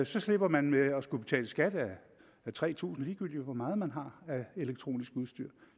så slipper man med at skulle betale skat af tre tusind kr ligegyldigt hvor meget man har af elektronisk udstyr